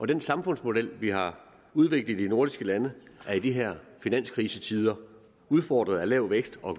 den samfundsmodel vi har udviklet i de nordiske lande er i de her finanskrisetider udfordret af lav vækst og